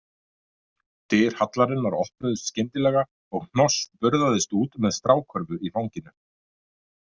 Dyr hallarinnar opnuðust skyndilega og Hnoss burðaðist út með strákörfu í fanginu.